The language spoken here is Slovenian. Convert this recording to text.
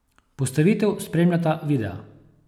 Postavitev spremljata videa.